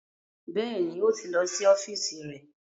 Bẹ́ẹ̀ni, ó ti lọ sí ọ́fíìsì rẹ̀